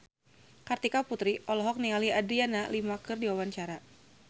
Kartika Putri olohok ningali Adriana Lima keur diwawancara